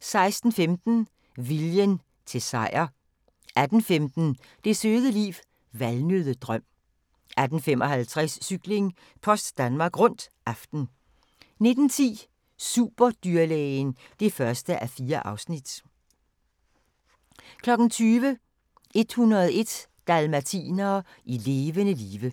16:15: Viljen til sejr 18:15: Det søde liv – Valnøddedrøm 18:55: Cykling: Post Danmark Rundt - aften 19:10: Superdyrlægen (1:4) 20:00: 101 dalmatinere i levende live